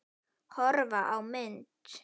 Horfa á mynd